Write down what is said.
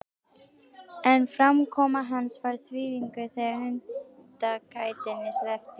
En framkoma hans var þvinguð þegar hundakætinni sleppti.